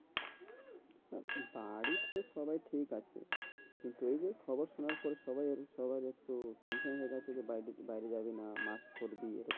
তা বাড়িতে তো সবাই ঠিক আছে। কিন্তু এই যে খবর সোনার পর সবাই সবাই একটু tension হয়ে গেছে যে বাইরে বাইরে যাবে না mask পড়বি।